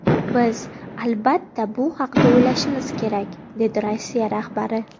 Biz, albatta, bu haqda o‘ylashimiz kerak”, dedi Rossiya rahbari.